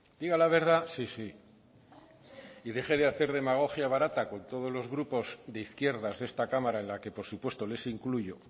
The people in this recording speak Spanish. diga la verdad sí sí y deje de hacer demagogia barata con todos los grupos de izquierdas de esta cámara en la que por supuesto les incluyo